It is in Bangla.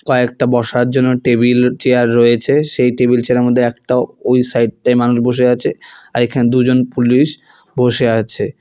কয়েকটা বসার জন্য টেবিল চেয়ার রয়েছে সেই টেবিল চেয়ার -এর মধ্যে একটাও ওই সাইড -টায় মানুষ বসে আছে আর এখানে দুজন পুলিশ বসে আছে।